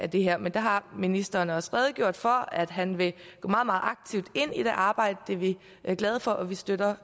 det her men der har ministeren også redegjort for at han vil gå meget meget aktivt ind i det arbejde det er vi glade for og vi støtter